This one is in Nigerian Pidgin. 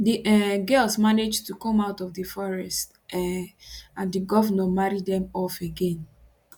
di um girls manage to come out of di forest um and di govnor marry dem off again